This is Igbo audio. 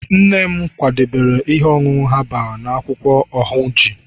nne m kwadebere ihe ọṅụṅụ herbal na akwụkwọ ahunji